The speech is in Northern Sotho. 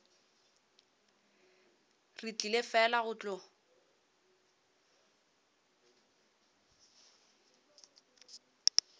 re tlile fela go tlo